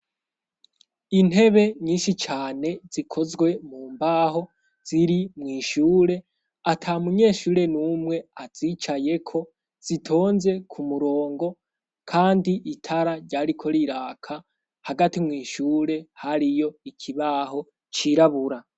Intebe nyinshi cane zikozwe mu mbaho ziri mw'ishure ata munyeshure n'umwe azicayeko zitonze ku murongo kandi itara ryariko riraka, hagati mw'ishure hariyo ikibaho cirabura.